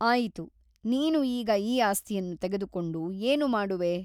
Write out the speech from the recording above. ಆಯಿತು ನೀನು ಈಗ ಈ ಆಸ್ತಿಯನ್ನು ತೆಗೆದುಕೊಂಡು ಏನು ಮಾಡುವೆ ?